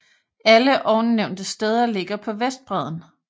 Alle ovennævnte steder ligger på vestbredden